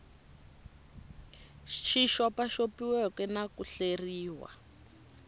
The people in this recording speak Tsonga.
xi xopaxopiweke na ku hleriwa